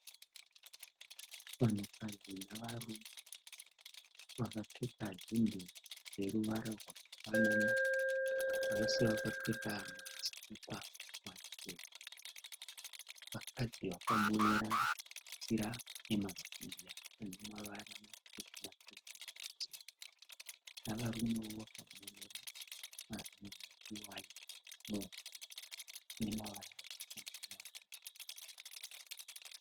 Vanhukadzi navarume vakapfeka hembe dzeruvara rwakafanana vose vakapfeka masikipa machena vakadzi vakamonera machira emazambia anemavara navarume vakamonerawo machira